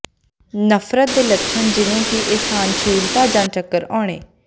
ਨਫ਼ਰਤ ਦੇ ਲੱਛਣ ਜਿਵੇਂ ਕਿ ਅਸਹਿਣਸ਼ੀਲਤਾ ਜਾਂ ਚੱਕਰ ਆਉਣੇ